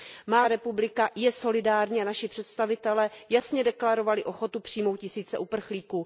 Má země, Česká republika, je solidární, a naši představitelé jasně deklarovali ochotu přijmout tisíce uprchlíků.